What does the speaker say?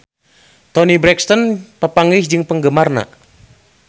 Toni Brexton papanggih jeung penggemarna